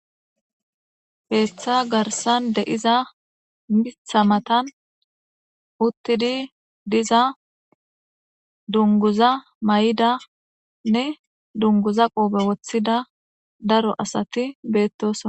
Keeththa garsan de7iza mitha matan uttidi diza dunguza may7ida nne dunguza qoobe woththida daro asati beettossona.